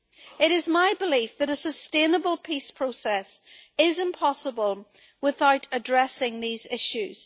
It is my belief that a sustainable peace process is impossible without addressing these issues.